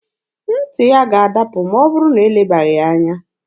Ntị ya ga-adapụ ma ọ bụrụ na elebaghị ya anya.